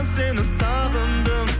сені сағындым